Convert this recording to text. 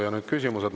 Ja nüüd küsimused.